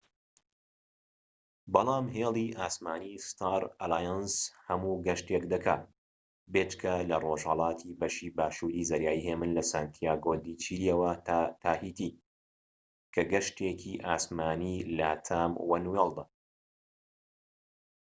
بەڵام هێلی ئاسمانی ستار ئەلایەنس هەموو گەشتێك دەکات بێجگە لە ڕۆژهەڵاتی بەشی باشوور ی زەریای هێمن لە سانتیاگۆ دی چیلی یەوە تا تاهیتی کە گەشتێکی ئاسمانی لاتام وەنوێڵدە